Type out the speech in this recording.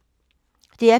DR P3